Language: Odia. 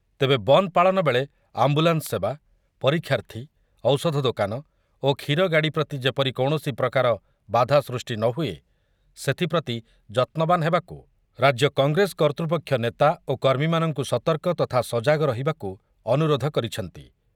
ତେବେ ବନ୍ଦ ପାଳନ ବେଳେ ଆମ୍ବୁଲାନ୍ସ ସେବା, ପରୀକ୍ଷାର୍ଥୀ, ଔଷଧ ଦୋକାନ ଓ କ୍ଷୀରଗାଡ଼ି ପ୍ରତି ଯେପରି କୌଣସି ପ୍ରକାର ବାଧା ସୃଷ୍ଟି ନ ହୁଏ, ସେଥିପ୍ରତି ଯତ୍ନବାନ ହେବାକୁ ରାଜ୍ୟ କଂଗ୍ରେସ କର୍ତ୍ତୃପକ୍ଷ ନେତା ଓ କର୍ମୀମାନଙ୍କୁ ସତର୍କ ତଥା ସଜାଗ ରହିବାକୁ ଅନୁରୋଧ କରିଛନ୍ତି ।